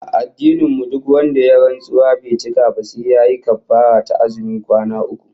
A addinin mu duk wanda ya yi rantsuwa bai cika ba, sai yayi kaffarah ta azumin kwana uku